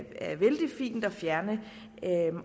er vældig fint at fjerne